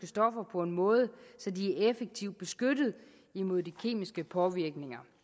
stoffer på en måde så de er effektivt beskyttet imod de kemiske påvirkninger